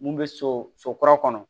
Mun bɛ so so kura kɔnɔ